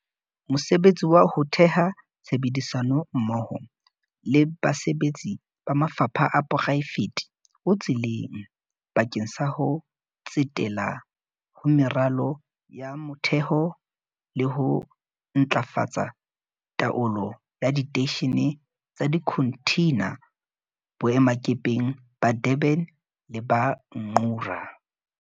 Mosebetsi wa ho theha tshebedisano mmoho le basebetsi ba mafapha a poraefete o tseleng bakeng sa ho tsetela ho meralo ya motheho le ho ntlafatsa taolo ya diteishene tsa dikhonthina boemakepeng ba Durban le ba Ngqura.